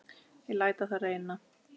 Ég læt á það reyna.